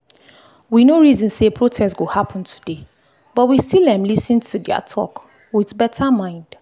we no reason say protest go happen today but we still um lis ten to their talk with better mind.